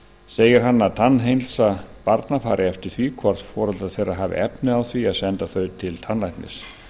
segir hann að tannheilsa barna fari eftir því hvort foreldrar þeirra hafi efni á því að senda þau til tannlæknis